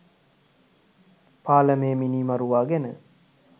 පාලමේ මිනිමරුවා ගැන